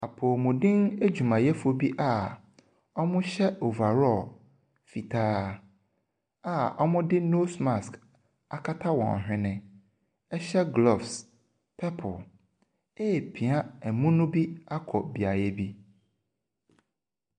Apomuden adwumayɛfoɔ bi a ɔhyɛ overall fitaa a wɔde nose mask akata wɔn whene, ɛhyɛ gloves purple ɛrepia emuu bi akɔ beaeɛ bi.